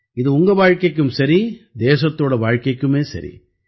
இது உங்க வாழ்க்கைக்கும் சரி தேசத்தோட வாழ்க்கைக்குமே சரி